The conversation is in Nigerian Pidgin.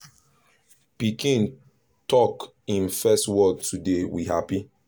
pikin tok hin first word today we happy